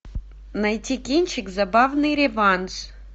найти кинчик забавный реванш